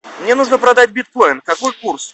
мне нужно продать биткоин какой курс